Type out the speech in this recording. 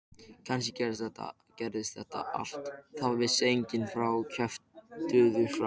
Kannski gerðist allt, það vissi enginn og fáir kjöftuðu frá.